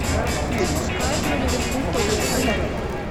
запускай игру ливерпуль тоттенхэм